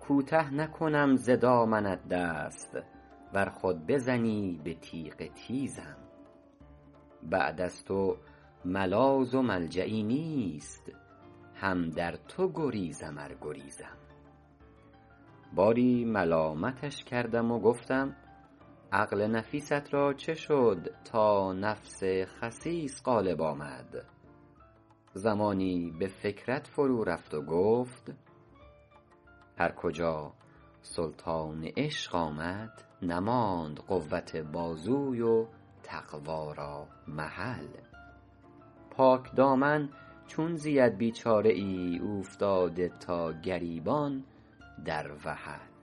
کوته نکنم ز دامنت دست ور خود بزنی به تیغ تیزم بعد از تو ملاذ و ملجایی نیست هم در تو گریزم ار گریزم باری ملامتش کردم و گفتم عقل نفیست را چه شد تا نفس خسیس غالب آمد زمانی به فکرت فرو رفت و گفت هر کجا سلطان عشق آمد نماند قوت بازوی تقویٰ را محل پاکدامن چون زید بیچاره ای اوفتاده تا گریبان در وحل